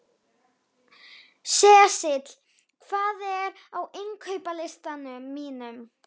Sesil, hvað er á innkaupalistanum mínum?